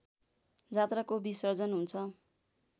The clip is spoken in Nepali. जात्राको विसर्जन हुन्छ